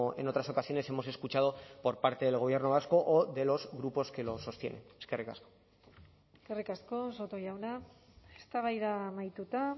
en otras ocasiones hemos escuchado por parte del gobierno vasco o de los grupos que lo sostienen eskerrik asko eskerrik asko soto jauna eztabaida amaituta